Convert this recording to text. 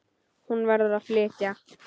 Hún verður að flytja.